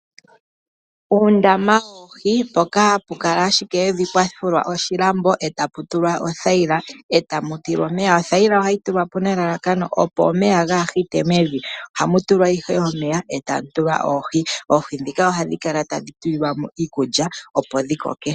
Uundama woohi mpoka hapu kala ashike evi, pwafulwa oshilambo, etapu tulwa othayila, etamu tilwa omeya. Oothayila ohayi tulwa po nelalakano opo omeya gaahite mevi. Ohamu tulwa ihe omeya etamu tilwa oohi. Oohi ndhika ohadhi kala tadhi tulilwa mo iikulya opo dhikoke.